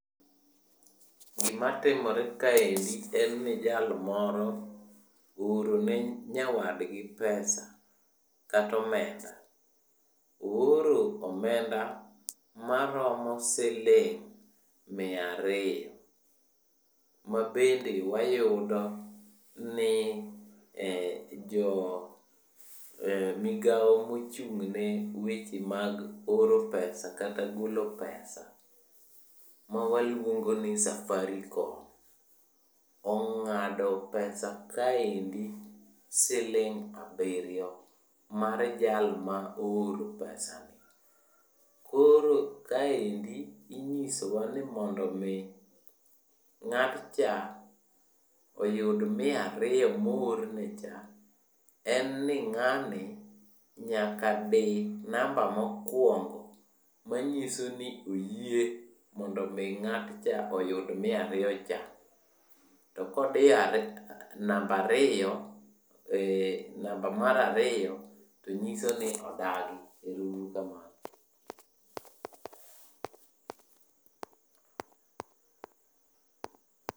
Gimatimore kaendi en ni jal moro oorone nyawadgi pesa katomenda. Ooro omenda maromo siling' miariyo, mabende wayudo ni jo migao mochung'ne oro pesa kata golo pesa mawaluongoni Safaricom, ong'ado pesa kaendi siling' abiriyo mar jalma ooro pesa ni. Koro kaendi inyisowa ni mondomi ng'atcha oyud miariyo moornecha, en ni ng'ani nyaka di namba mokwongo manyiso ni oyie mondo mi ng'atcha oyud miariyocha. To kodiyo namba mar ariyo to nyiso ni odagi. Ero uru kamano.